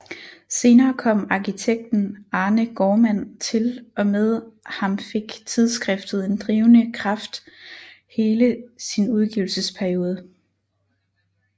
Senere kom arkitekten Arne Gaardmand til og med ham fik tidsskriftet en drivende kraft hele sin udgivelsesperiode